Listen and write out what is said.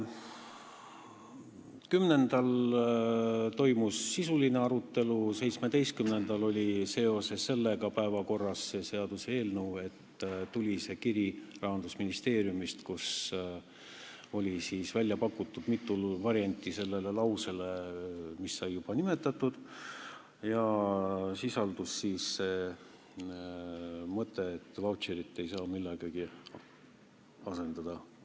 10. septembril toimus sisuline arutelu, 17. septembril oli see seaduseelnõu päevakorras seoses sellega, et Rahandusministeeriumist tuli kiri, kus oli välja pakutud mitu varianti sellele lausele, mis sai juba nimetatud, ja sisaldus ka mõte, et sõna "vautšer" ei saa millegagi asendada.